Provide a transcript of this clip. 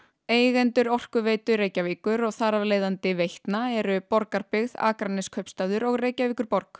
eigendur Orkuveitu Reykjavíkur og þar af leiðandi Veitna eru Borgarbyggð Akraneskaupstaður og Reykjavíkurborg